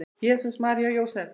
Jesús, María og Jósef!